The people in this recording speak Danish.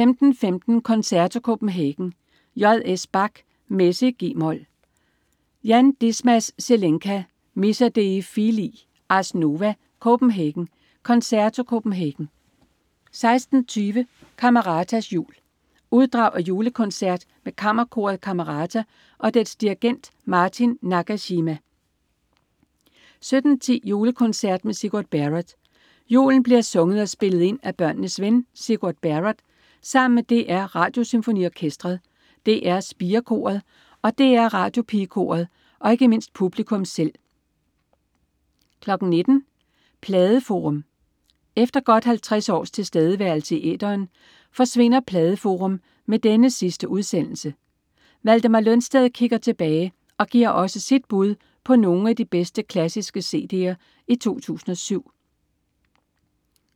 15.15 Concerto Copenhagen. J.S. Bach: Messe i g-mol. Jan Dismas Zelenka: Missa dei filii. Ars Nova Copenhagen. Concerto Copenhagen 16.20 Cameratas jul. Uddrag af julekoncert med Kammerkoret Camerata og dets dirigent Martin Nagashima 17.10 Julekoncert med Sigurd Barrett. Julen bliver sunget og spillet ind af børnenes ven Sigurd Barrett sammen med DR Radiosymfoniorkestret, DR Spirekoret, DR Radiopigekoret og ikke mindst publikum selv 19.00 Pladeforum. Efter godt 50 års tilstedeværelse i æteren forsvinder "Pladeforum" med denne sidste udsendelse. Valdemar Lønsted kigger tilbage og giver også sit bud på nogle af de bedste klassiske cd'er i 2007